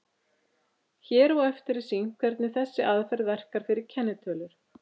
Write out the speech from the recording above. Hér á eftir er sýnt hvernig þessi aðferð verkar fyrir kennitölur.